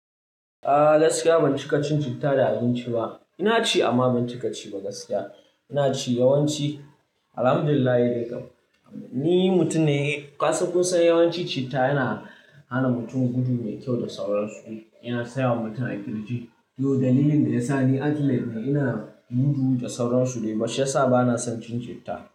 Ah, gaskiya ban ci kacin citta da abinci ba. Ina ci amma ban ci ka ci ba gaskiya. Ina ci yawanci, Alhamdulillah dai kam. Ni mutum ne, ka san kusan yawanci citta yana hana mutum gudu mai kyau da sauran su. Yana tsayawa mutum a ƙirji. To, dalilin da ya sa ni athletic ne, ina gudu da sauran su dai. Ba shi ya sa ba na son cin citta.